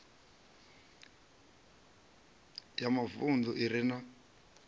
ya mavunḓu i re na